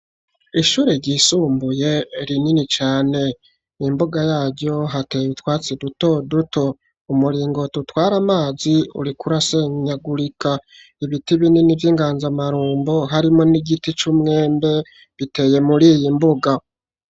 Ishure ryisumbuye rinini cane. Imbuga yaryo hateye itwatsi duto duto. Umuringoti utwara amazi uriko urasenyagurika. Ibiti binini vy'inganzamarumbo harimwo n'igiti c'umwembe, biteye muri iyi mbuga.